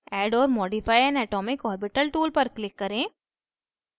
add or modify an atomic orbital tool पर click करें